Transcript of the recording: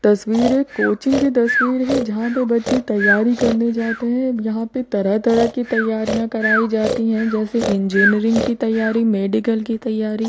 तस्वीर एक कोचिंग की तस्वीर है। जहाँ पे बच्चे तैयारी करने जाते हैं यहाँ पे तरह-तरह की तैयारियाँ कराई जाती हैं जैसे इंजीनियरिंग की तैयारी मेडिकल की तैयारी।